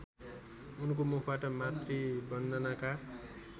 उनको मुखबाट मातृवन्दनाका